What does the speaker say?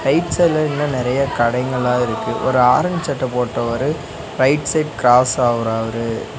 Right சைடுல இன்னு நறையா கடைகள்லா இருக்கு ஒரு ஆரஞ்சு சட்ட போட்டவரு ரைட் சைடு கிராஸ் ஆவுறாரு.